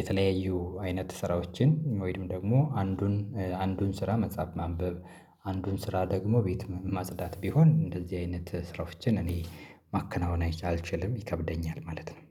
የተለያዩ አይነት ስራዎችን ወይም ደግሞ አንዱን አንዱን ስራ መጻፍ ማንበብ አንዱን ስራ ደግሞ ቤት ማጽዳት ቢሆን እንደዚህ አይነት ስራዎችን እኔ ማከናወን አልችልም ይከብደኛል ማለት ነው፤